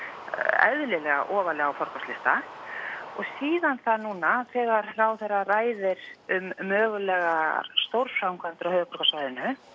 eðlilega ofarlega á forgangslista og síðan það núna þegar ráðherra ræðir um mögulegar stórframkvæmdir á höfuðborgarsvæðinu